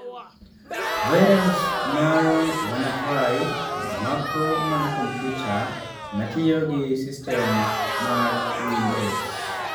Virus mar WannaCry mako mana kompyuta matiyo gi sistem mar Windows.